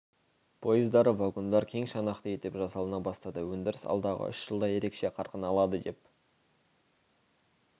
поездары вагондар кең шанақты етіп жасалына бастады өндіріс алдағы үш жылда ерекше қарқын алады деп